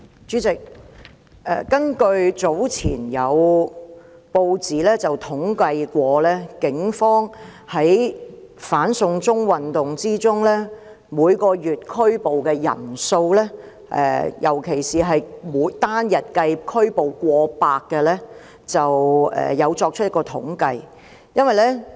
主席，早前有報章曾就警方在"反送中"運動中每月拘捕的人數，尤其是單日拘捕過百人的數字作出統計。